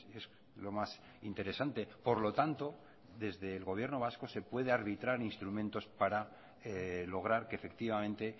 es lo más interesante por lo tanto desde el gobierno vasco se puede arbitrar instrumentos para lograr que efectivamente